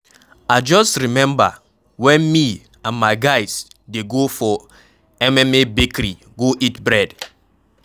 I just remember wen me and my guys dey go for Mma bakery go eat bread